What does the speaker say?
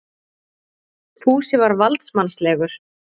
Fúsi var valdsmannslegur.